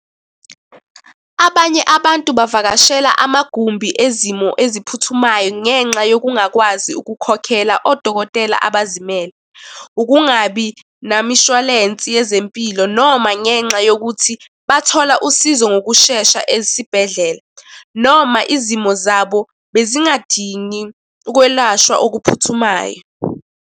Abanye abantu bavakashela amagumbi ezimo eziphuthumayo ngenxa yokungakwazi ukukhokhela odokotela abazimele. Ukungabi namishwalensi yezempilo noma ngenxa yokuthi bathola usizo ngokushesha esibhedlela, noma izimo zabo bezingadingi ukwelashwa okuphuthumayo.